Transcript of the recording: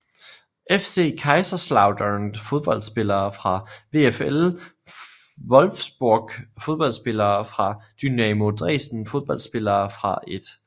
FC Kaiserslautern Fodboldspillere fra VfL Wolfsburg Fodboldspillere fra Dynamo Dresden Fodboldspillere fra 1